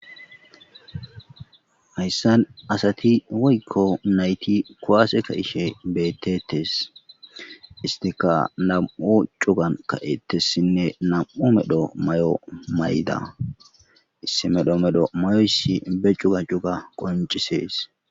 hayssan asati woykko nayti kuwase ka ishe beettetes istika nam7u cugan ka7ettessinne nam7u medho may7o may7da issimedho medho may7oyssi be cuga cuga qoncisees